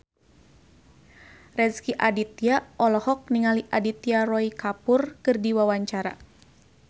Rezky Aditya olohok ningali Aditya Roy Kapoor keur diwawancara